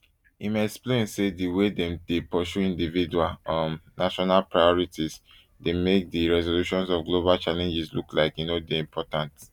im explain say di way wey dem dey pursue individual um national priorities dey make di resolutions of global challenges look like say e no important